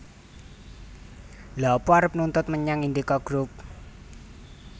Lha apa arep nuntut menyang Indika Group?